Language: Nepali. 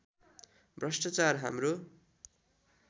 भ्रष्ट्राचार हाम्रो